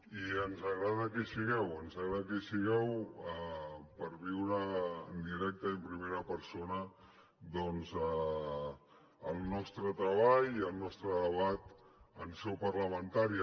i ens agrada que hi sigueu ens agrada que hi sigueu per viure en directe i en primera persona doncs el nostre treball i el nostre debat en seu parlamentària